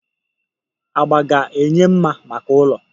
Agba ga-enye mma maka ụlọ.